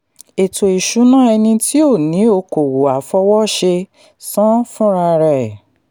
ètò ìṣúná ẹni tí ó ni okòwò àfọwọ́ṣe sán fúnra rẹ̀.